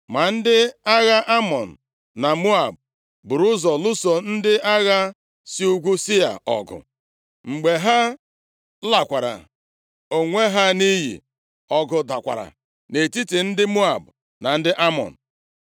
Ma ndị agha Amọn na Moab buru ụzọ lụso ndị agha si nʼugwu Sia ọgụ. Mgbe ha lakwara onwe ha nʼiyi, ọgụ dakwara nʼetiti ndị Moab na Amọn.